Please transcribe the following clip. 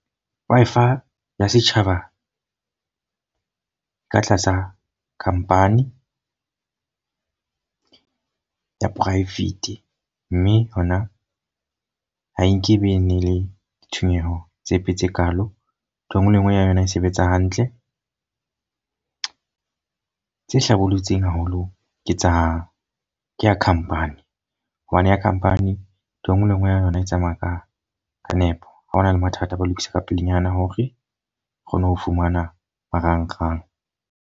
Wi-Fi ya setjhaba ka tlasa company ya private. Mme hona ha e nkebe le ditshenyeho tsepe tse kalo. Ntho e nngwe le e nngwe ya yona e sebetsa hantle. Tse hlabollotsweng haholo ke tsa khampani. Hobane ya company e nngwe le e nngwe ya yona e tsamaya ka ka nepo. Ha ho na le mathata, ba lokisa ka pelenyana hore o kgone ho fumana marangrang.